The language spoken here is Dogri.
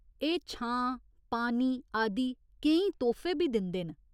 एह् छां, पानी आदि केईं तोह्फे बी दिंदे न।